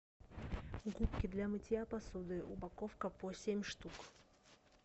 губки для мытья посуды упаковка по семь штук